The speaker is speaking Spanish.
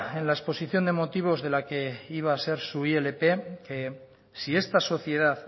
en la exposición de motivos de la que iba a ser su ilp que si esta sociedad